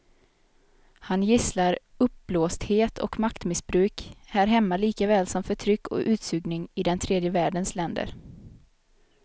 Han gisslar uppblåsthet och maktmissbruk här hemma likaväl som förtryck och utsugning i den tredje världens länder.